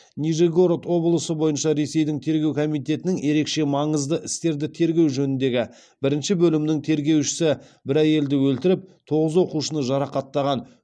нижегород облысы бойынша ресейдің тергеу комитетінің ерекше маңызды істерді тергеу жөніндегі бірінші бөлімінің тергеушісі бір әйелді өлтіріп тоғыз оқушыны жарақаттаған